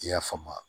I y'a faamu